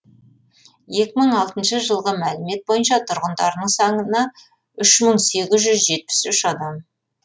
екі мың алтыншы жылғы мәлімет бойынша тұрғындарының саны үш мың сегіз жүз жетпіс үш адам